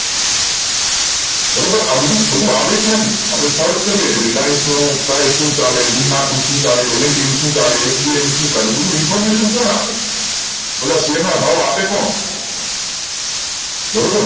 બારોબાર આ બધું થોડુંક આવડે છેને reliance નો price શુ ચાલે D Mart નુ શુ ચાલે LNT નુ શુ ચાલે HNB શુ ચાલે આ બધી information કોણ આપે બધા શેર ના ભાવ આપે કોણ બરોબર